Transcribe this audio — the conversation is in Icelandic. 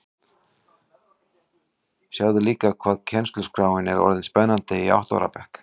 Sjáðu líka hvað kennsluskráin er orðin spennandi í átta ára bekk